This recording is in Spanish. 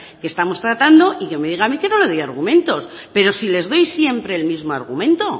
que estamos tratando y que me diga a mí que no le doy argumentos pero si les doy siempre el mismo argumento